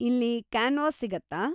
ಇಲ್ಲಿ ಕ್ಯಾನ್ವಾಸ್‌ ಸಿಗುತ್ತಾ?